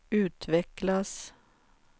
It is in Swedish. utvecklas